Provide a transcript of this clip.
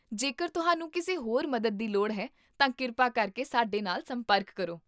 ਜੇਕਰ ਤੁਹਾਨੂੰ ਕਿਸੇ ਹੋਰ ਮਦਦ ਦੀ ਲੋੜ ਹੈ, ਤਾਂ ਕਿਰਪਾ ਕਰਕੇ ਸਾਡੇ ਨਾਲ ਸੰਪਰਕ ਕਰੋ